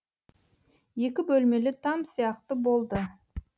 екі бөлмелі там сияқты болды